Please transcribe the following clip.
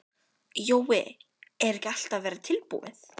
Jói, er ekki allt að verða tilbúið?